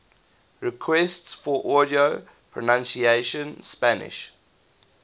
requests for audio pronunciation spanish